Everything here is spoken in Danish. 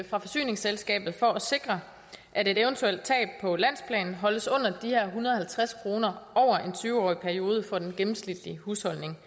fra forsyningsselskabet for at sikre at et eventuelt tab på landsplan holdes under de her en hundrede og halvtreds kroner over en tyve årig periode for den gennemsnitlige husholdning